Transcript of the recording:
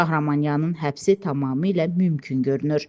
Şahramanyanın həbsi tamamilə mümkün görünür.